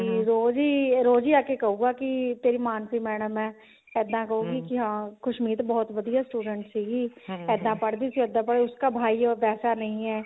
ਕੀ ਰੋਜ਼ ਹੀ ਇਹ ਰੋਜ਼ ਹੀ ਆਕੇ ਕਹੁਗਾ ਕਿ ਤੇਰੀ ਮਾਨਸੀ madam ਆ ਇੱਦਾਂ ਕਹੁਗੀ ਕੀ ਹਾਂ ਖੁਸ਼ਮੀਤ ਬਹੁਤ ਵਧੀਆ student ਸੀਗੀ ਇੱਦਾਂ ਪੜਦੀ ਸੀ ਇੱਦਾਂ ਪੜ ਉਸਕਾ ਭਾਈ ਅਬ ਵੈਸਾ ਨਹੀਂ ਹੈਂ